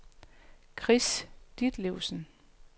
Chris Ditlevsen